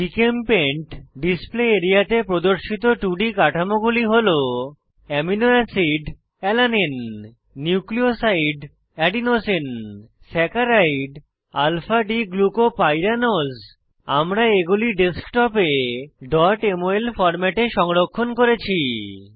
GChemPaint display এরিয়াতে প্রদর্শিত 2ডি কাঠামোগুলি হল amino acid Alanine nucleoside Adenosine saccharide Alpha D glucopyranose আমি এগুলি ডেস্কটপে mol ফরম্যাটে সংরক্ষণ করেছি